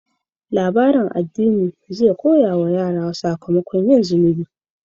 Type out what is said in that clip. Labarin addini zai koya wa yara sakamakon yin zunubi.